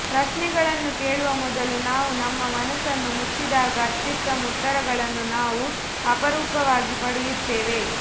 ಪ್ರಶ್ನೆಗಳನ್ನು ಕೇಳುವ ಮೊದಲು ನಾವು ನಮ್ಮ ಮನಸ್ಸನ್ನು ಮುಚ್ಚಿದಾಗ ಅತ್ಯುತ್ತಮ ಉತ್ತರಗಳನ್ನು ನಾವು ಅಪರೂಪವಾಗಿ ಪಡೆಯುತ್ತೇವೆ